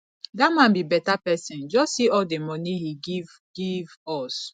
dat man be beta person just see all the money he give give us